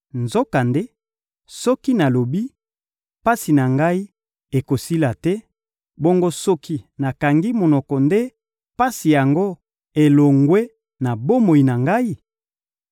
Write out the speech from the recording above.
Nzokande, soki nalobi, pasi na ngai ekosila te; bongo soki nakangi monoko nde pasi yango elongwe na bomoi na ngai?